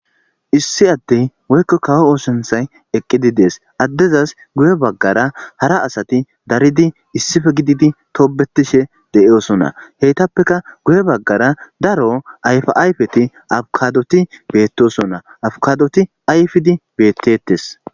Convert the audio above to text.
issi addey woykko kawo oosonthay eqqidi dees addezas guye baggara hara asati daridi issife gididi toobetishe de'iosonna heytappeka guye baggara daro ayfia ayfeti abukadoti beettosonna abukadoti ayfidi beettetes